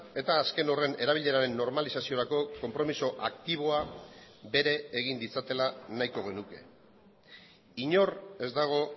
eta azken horren erabileraren normalizaziorako konpromiso aktiboa bere egin ditzatela nahiko genuke inor ez dago